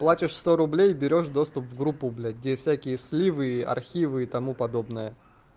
платишь сто рублей берёшь доступ в группу блять где всякие сливы архивы и тому подобное